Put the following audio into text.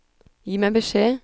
Gi meg beskjed